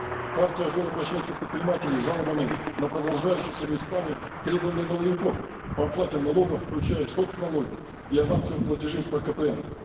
в партию ак жол обращаются предприниматели с жалобами на продолжающиеся местами требования налоговиков по оплате налогов включая соц налоги и авансовые платежи по кпн